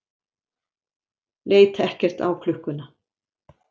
leit ekkert á klukkuna.